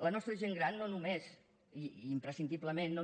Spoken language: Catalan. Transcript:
la nostra gent gran no només i imprescindiblement